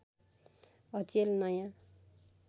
अचेल नयाँ